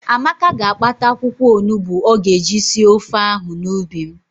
Amaka ga-akpata akwụkwọonugbo ọ ga-eji sie ofe ahụ n'ubi m.